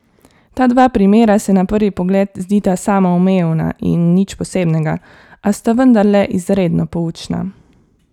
Ta dva primera se na prvi pogled zdita samoumevna in nič posebnega, a sta vendarle izredno poučna.